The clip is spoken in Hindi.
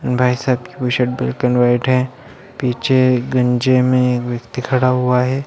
इन भाई साहब की भी शर्ट ब्लैक एंड वाइट है| पीछे गंजे में एक व्यक्ति खड़ा हुआ है।